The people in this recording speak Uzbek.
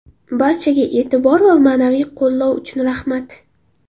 Barchaga e’tibor va ma’naviy qo‘llov uchun rahmat!